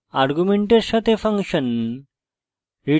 arguments সাথে function এবং